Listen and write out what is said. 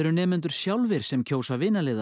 nemendur sjálfir sem kjósa